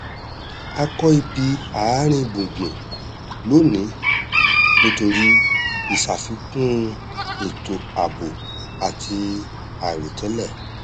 a kọ ibi àárín gbùngbùn lónìí nítorí ìṣàfikún étò ààbò àti àìròtẹlẹ